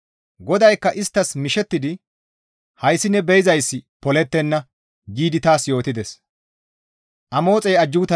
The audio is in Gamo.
GODAYKKA isttas mishettidi, «Hayssi ne be7izayssi polettenna» giidi taas yootides.